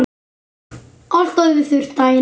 Allt orðið þurrt daginn eftir.